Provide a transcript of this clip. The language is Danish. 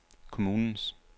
kommunens